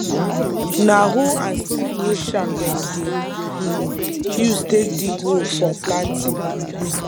na hoe and stick wey sharp dem dey um use take dig hole for planting